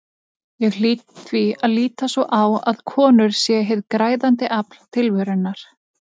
Ég hlýt því að líta svo á að konur séu hið græðandi afl tilverunnar.